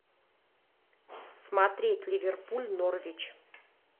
смотреть ливерпуль норвич